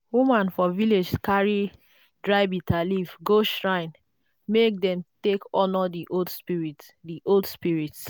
women for village carry dry bitterleaf go shrine make dem take honour the old spirits. the old spirits.